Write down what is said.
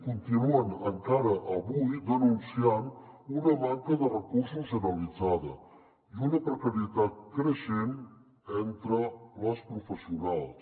continuen encara avui denunciant una manca de recursos generalitzada i una precarietat creixent entre les professionals